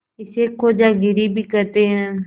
इसे खोजागिरी भी कहते हैं